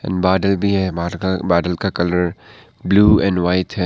बादल भी है बादल का कलर ब्लू एंड व्हाइट है।